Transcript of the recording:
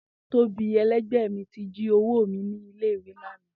Tobi ẹlẹgbẹ mi ti ji owo mi ni ile-iwe lana.